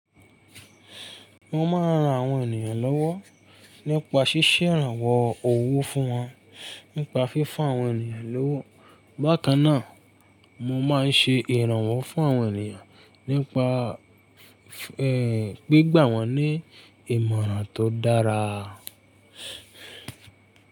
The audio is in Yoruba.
Mo máa ń ran àwọn ènìyàn lọ́wọ́ nípa ṣíṣe ìrànwọ́ owó fún wọn, nípa fífún àwọn ènìyàn lówó. Bákan náà, mo máa ń ṣe ìrànwọ́ fún àwọn ènìyàn nípa, ẹ́, gbígbà wọ́n ní ìmọ̀ràn tó dára.